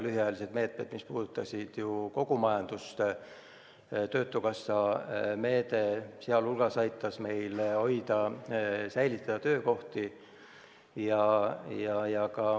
Lühiajalised meetmed, mis puudutasid kogu majandust, sh töötukassa meede, aitasid meil hoida töökohti.